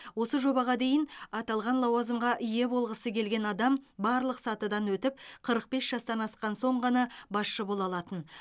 осы жобаға дейін аталған лауазымға ие болғысы келген адам барлық сатыдан өтіп қырық бес жастан асқан соң ғана басшы бола алатын